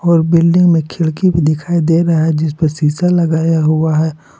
और बिल्डिंग में खिड़की भी दिखाई दे रहा है जिसपे शीशा लगाया हुआ है।